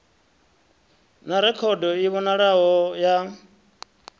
na rekhodo i vhonalaho ya